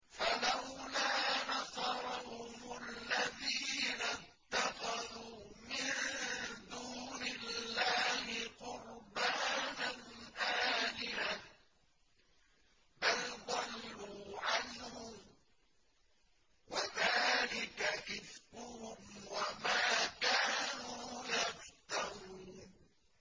فَلَوْلَا نَصَرَهُمُ الَّذِينَ اتَّخَذُوا مِن دُونِ اللَّهِ قُرْبَانًا آلِهَةً ۖ بَلْ ضَلُّوا عَنْهُمْ ۚ وَذَٰلِكَ إِفْكُهُمْ وَمَا كَانُوا يَفْتَرُونَ